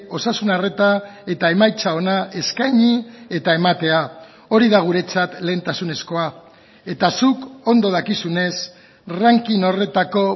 osasun arreta eta emaitza ona eskaini eta ematea hori da guretzat lehentasunezkoa eta zuk ondo dakizunez ranking horretako